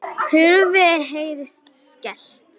Hurð heyrist skellt.